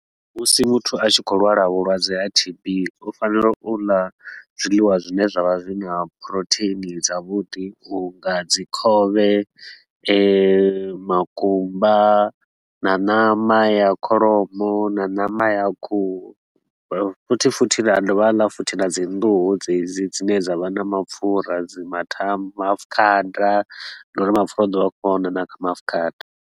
Musi muthu a tshi khou lwala vhulwadze ha T_B, u fanela u ḽa zwiḽiwa zwine zwa vha zwi na protein dza vhuḓi. U nga dzi khovhe, makumba na ṋama ya kholomo na ṋama ya khuhu, futhi futhi a dovha a ḽa futhi na dzi nḓuhu dzedzi dzine dza vha na mapfura, dzi matha maafukhada, ngauri mapfura u ḓo vha a khou a wana na kha maafukhada.